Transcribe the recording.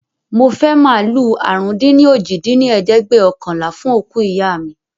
Mo fẹ́ màálù àrún-dín-ní-ojì dín ní ẹ̀ẹ́dẹ́gbẹ́ọ̀kànlá fún òkú ìyá mi